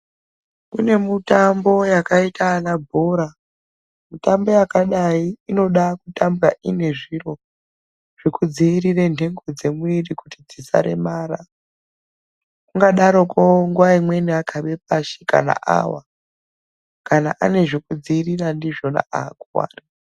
Kune mutambo yakaita ana bhora mitambo yakadai inoda kutambwa iine zviro zvekudziirira ndhengo dzemwiri kuti dzisaremara, ungadaroko nguwa imweni akabe pasha kana kuwa kana aine zvekudziwirira ndizvona aakuwari.